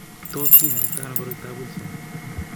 Tos kinyaita ano koroitoab Wilson?